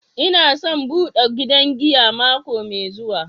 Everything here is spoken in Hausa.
N'na son bude gidan giya mako mai zuwa.